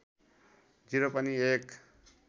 ० पनि एक